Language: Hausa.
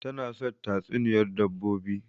Tana son tatsuniyar dabbobi